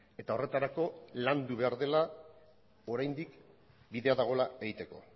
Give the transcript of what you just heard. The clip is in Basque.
eta horretarako landu behar dela oraindik bidea dagoela egiteko